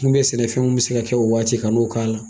Kun bɛ ye sɛnɛ fɛnw bɛ se ka kɛ o waati kan'o k'a la.